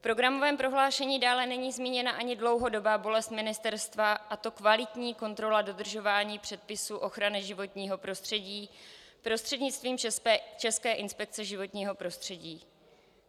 V programovém prohlášení dále není zmíněna ani dlouhodobá bolest ministerstva, a to kvalitní kontrola dodržování předpisů ochrany životního prostředí prostřednictvím České inspekce životního prostředí.